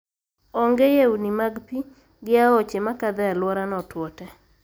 Onge yewni mag pii, gi aoche makadho e aluorano otuo te.